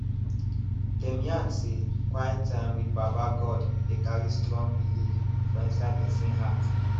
dem yarn say quite time with baba god dey carry strong belive for inside person heart